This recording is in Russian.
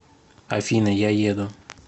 афина я еду